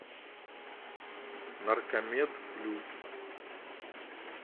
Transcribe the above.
наркомед плюс